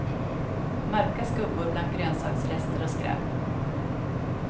Mörka skuggor bland grönsaksrester och skräp.